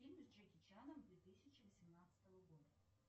фильмы с джеки чаном две тысячи восемнадцатого года